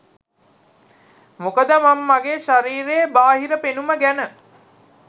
මොකද මං මගේ ශරීරයේ බාහිර පෙනුම ගැන